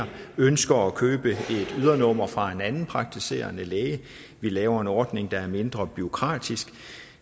ønsker at købe et ydernummer fra en anden praktiserende læge vi laver en ordning der er mindre bureaukratisk